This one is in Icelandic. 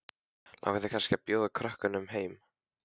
Langar þig kannski til að bjóða krökkum heim?